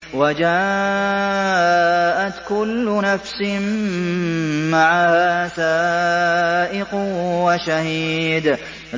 وَجَاءَتْ كُلُّ نَفْسٍ مَّعَهَا سَائِقٌ وَشَهِيدٌ